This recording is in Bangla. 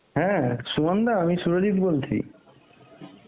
হ্যাঁ সুমনদা, আমি সুরজিৎ বলছি.